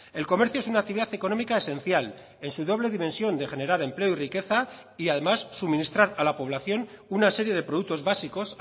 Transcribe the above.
el comercio es una actividad económica esencial en su doble dimensión de generar empleo y riqueza y además suministrar a la población una serie de productos básicos